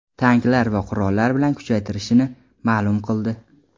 tanklar va qurollar bilan kuchaytirishini ma’lum qildi,.